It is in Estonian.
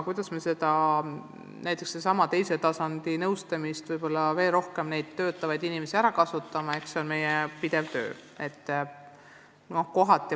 Kuidas me sedasama teise tasandi nõustamist ja neid inimesi veel rohkem saame ära kasutada, on meil pidevalt töölaual.